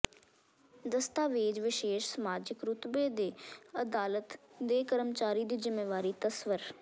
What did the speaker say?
ਦਸਤਾਵੇਜ਼ ਵਿਸ਼ੇਸ਼ ਸਮਾਜਿਕ ਰੁਤਬੇ ਦੇ ਅਦਾਲਤ ਦੇ ਕਰਮਚਾਰੀ ਦੀ ਜ਼ਿੰਮੇਵਾਰੀ ਤਸੱਵਰ